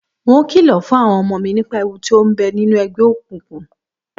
N óò kìlò̩ fún àwo̩n o̩mo̩ mi nípa ewu to ń be̩ nínú e̩gbé̩ òkùnkùn